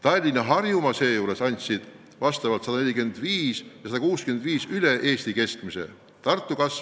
Tallinna ja Harjumaa sisemajanduse kogutoodang elaniku kohta moodustas seejuures vastavalt 145% ja 165% võrreldes Eesti keskmise näitajaga.